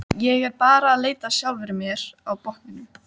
Ég er bara að leita að sjálfri mér á botninum.